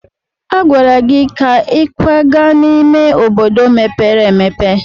A gwara gị ka ị kwaga n'ime obodo mepere emepe!